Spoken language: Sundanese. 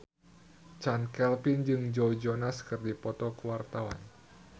Chand Kelvin jeung Joe Jonas keur dipoto ku wartawan